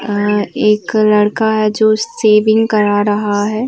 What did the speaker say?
अह एक लड़का है जो शेविंग करा रहा है।